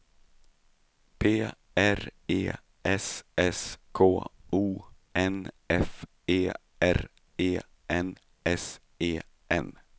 P R E S S K O N F E R E N S E N